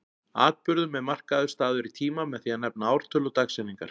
Atburðum er markaður staður í tíma með því að nefna ártöl og dagsetningar.